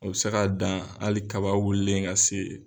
O bɛ se k'a dan hali kaba wulilen ka se